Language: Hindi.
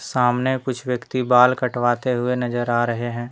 सामने कुछ व्यक्ति बाल कटवाते हुए नजर आ रहे हैं।